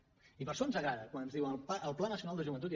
i per això ens agrada quan ens diuen el pla nacional de joventut